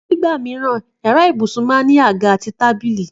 Nígbà mìíràn, yàrá ibùsùn máa ń ní àga àti tábìlì